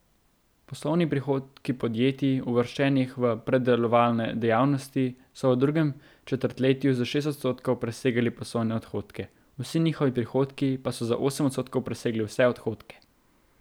Poslovni prihodki podjetij, uvrščenih v predelovalne dejavnosti, so v drugem četrtletju za šest odstotkov presegali poslovne odhodke, vsi njihovi prihodki pa so za osem odstotkov presegli vse odhodke.